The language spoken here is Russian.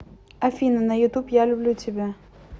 афина на ютуб я люблю тебя